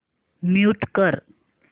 mute कर